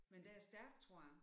Men den er stærk tror jeg